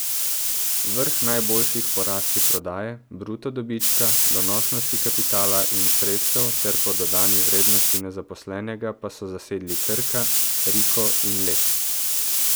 Vrh najboljših po rasti prodaje, bruto dobička, donosnosti kapitala in sredstev ter po dodani vrednosti na zaposlenega pa so zasedli Krka, Riko in Lek.